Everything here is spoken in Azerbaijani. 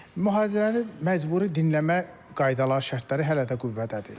Mühazirəni məcburi dinləmə qaydaları, şərtləri hələ də qüvvədədir.